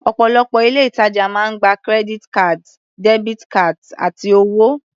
Ọ̀pọ̀lọpọ̀ ilé-ìtajà máa ń gba credit cards, debit cards, àti owó.